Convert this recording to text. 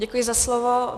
Děkuji za slovo.